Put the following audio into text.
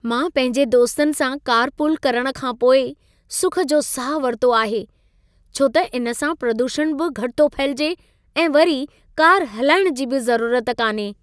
मां पंहिंजे दोस्तनि सां कारपूल करण खां पोइ सुख जो साह वरितो आहे, छो त इन सां प्रदूषण बि घटि थो फहिलिजे ऐं वरी कार हलाइणु जी बि ज़रूरत कान्हे।